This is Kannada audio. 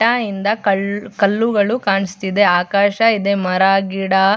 ಟಯಿಂದ ಕಲ್ಲು ಕಲ್ಲುಗಳು ಕಾಣಸ್ತಿದೆ ಆಕಾಶ ಇದೆ ಮರ ಗಿಡ --